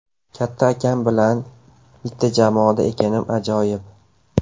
Katta akam bilan bitta jamoada ekanim ajoyib.